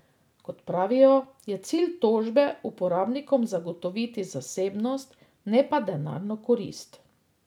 Kot pravijo, je cilj tožbe uporabnikom zagotoviti zasebnost, ne pa denarno korist.